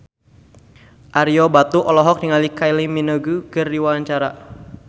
Ario Batu olohok ningali Kylie Minogue keur diwawancara